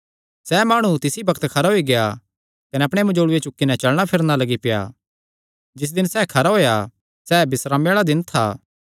सैह़ माणु तिसी बग्त खरा होई गेआ कने अपणे मंजोल़ूये चुक्की नैं चलणा फिरणा लग्गी पेआ जिस दिने सैह़ खरा होएया सैह़ बिस्रामे आल़ा दिन था